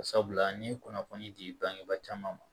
Sabula n ye kunnafoni di bangebaa caman ma